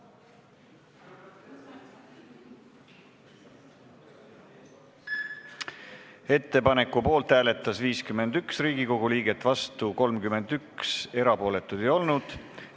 Hääletustulemused Ettepaneku poolt hääletas 51 Riigikogu liiget, vastu 31, erapooletuks ei jäänud keegi.